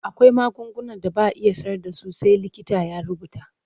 Akwai magungunan da ba a sayar da su sai likita ya rubuta.